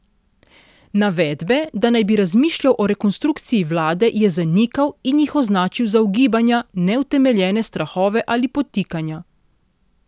Navedbe, da naj bi razmišljal o rekonstrukciji vlade, je zanikal in jih označil za ugibanja, neutemeljene strahove ali podtikanja.